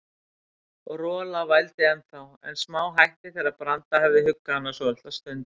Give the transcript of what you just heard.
Rola vældi ennþá, en smáhætti þegar Branda hafði huggað hana svolitla stund.